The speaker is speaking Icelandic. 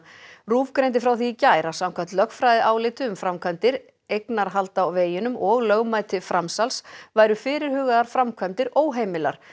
RÚV greindi frá því í gær að samkvæmt lögfræðiáliti um framkvæmdir eignarhald á veginum og lögmæti framsals væru fyrirhugaðar framkvæmdir óheimilar